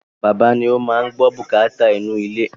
Bàbá ni o máa n gbọ́ bùkátà inú ilé